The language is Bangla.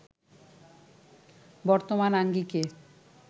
বর্তমান আঙ্গিকে